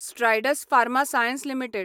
Strides Pharma Science limited